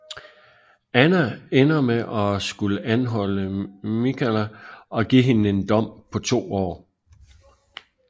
Anna ender med at skulle anholde Mikala og give hende en dom på to år